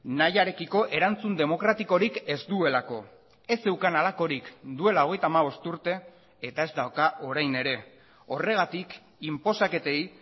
nahiarekiko erantzun demokratikorik ez duelako ez zeukan halakorik duela hogeita hamabost urte eta ez dauka orain ere horregatik inposaketei